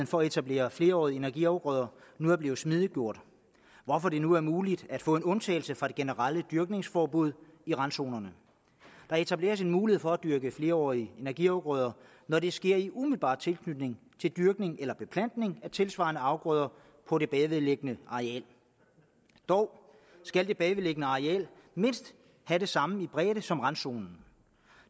for at etablere flerårige energiafgrøder nu er blevet smidiggjort hvorfor det nu er muligt at få en undtagelse fra det generelle dyrkningsforbud i randzonerne der etableres en mulighed for at dyrke flerårige energiafgrøder når det sker i umiddelbar tilknytning til dyrkning eller beplantning af tilsvarende afgrøder på det bagvedliggende areal dog skal det bagvedliggende areal mindst have samme bredde som randzonen